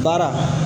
Baara